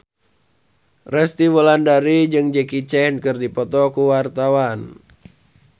Resty Wulandari jeung Jackie Chan keur dipoto ku wartawan